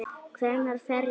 Hver fer ég?